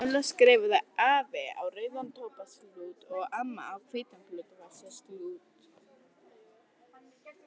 Lilla skrifaði AFI á rauðan tóbaksklút og AMMA á hvítan blúnduvasaklút.